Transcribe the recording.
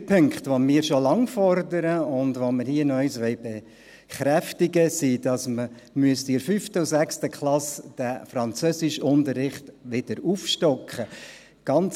Die drei Punkte, die wir schon lange fordern, und die wir hier noch einmal bekräftigen wollen, sind, dass man den Französischunterricht in der 5. und 6. Klasse wieder aufstocken müsste.